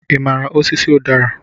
Ị maara osisi udara?